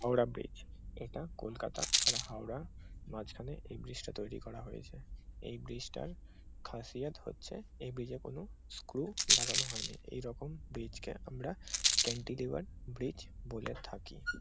Howrah bridge এটা কলকাতা আর হাওড়া মাঝখানে এই ব্রিজ টা তৈরি করা হয়েছে এই ব্রিজ টার খাসিয়াত হচ্ছে এই ব্রিজ এ কোন স্ক্রু লাগানো হয়নি এরকম ব্রিজ কে আমরা ক্যান্টিলিভার ব্রিজ বলে থাকি।